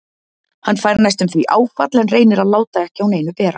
Hann fær næstum því áfall en reynir að láta ekki á neinu bera.